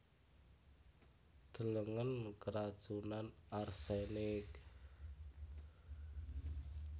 Delengen keracunan arsenik